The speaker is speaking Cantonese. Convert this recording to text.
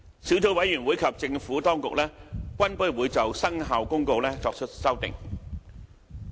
小組委員會及政府當局均不會就《生效公告》作出修訂。